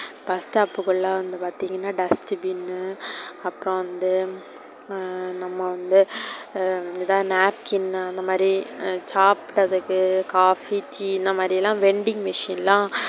bus stop குள்ள வந்து பார்த்திங்கனா dustbin னு அப்புறோ வந்து நம்ம வந்து napkin அந்த மாதிரி சாப்டதுக்கு coffee tea இந்த மாதிரியெல்லா vending machine எல்லாம்,